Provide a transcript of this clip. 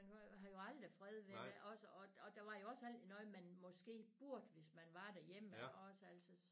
Man kan har jo aldrig fred ved det også og og der var jo også altid noget man måske burde hvis man var derhjemme iggås altså